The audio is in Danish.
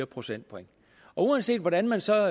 procentpoint og uanset hvordan man så